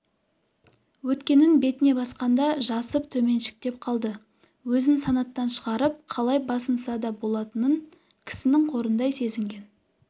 өткенін бетіне басқанда жасып төменшіктеп қалды өзін санаттан шығарып қалай басынса да болатын кісінің қорындай сезінген